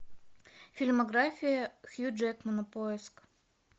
фильмография хью джекмана поиск